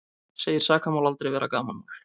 Segir sakamál aldrei vera gamanmál